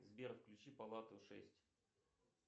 сбер включи палату шесть